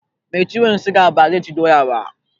Mai ciwon siga ba zai ci doya ba